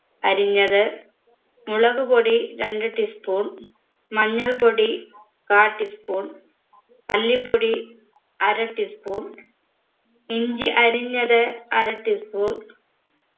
അരിഞ്ഞത് മുളകുപൊടി രണ്ട് tea spoon മഞ്ഞൾപ്പൊടി കാ tea spoon മല്ലിപ്പൊടി അര tea spoon ഇഞ്ചി അരിഞ്ഞത് അര tea spoon